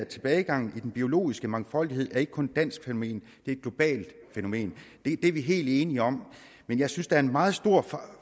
tilbagegangen i den biologiske mangfoldighed ikke kun dansk fænomen det er et globalt fænomen det er vi helt enige om men jeg synes der er en meget stor